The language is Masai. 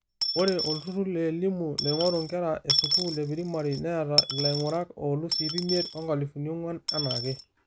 Ore olturrur leelimu, loing'oru nkera esukuul eprimari, neeta laing'urak olus ip imiet, onkalifuni ong'uan anaaake.